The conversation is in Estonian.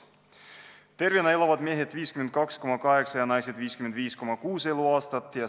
Tervena elavad mehed keskmiselt 52,8 ja naised 55,6 eluaastat.